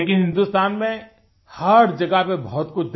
लेकिन हिंदुस्तान में हर जगह पर बहुत कुछ